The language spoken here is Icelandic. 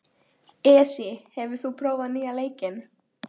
Esí, hefur þú prófað nýja leikinn?